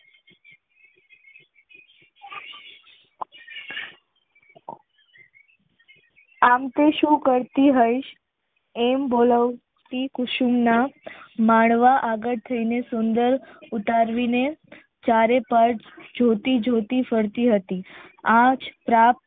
આમ તો શું કરતી હોયસ એમ બોલતી કુસુમ ના માળવા આગળ થઈ ને સુંદર ઉતારવીને ચારે તર્જ જોતી જોતી ફરતી હતી આજ પ્રાપ્ત